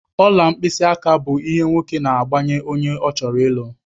Ọla mkpịsị aka bụ ihe nwoke na-agbanye onye ọ chọrọ ịlụ.